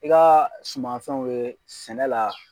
I ka sumanfɛnw ye sɛnɛ la.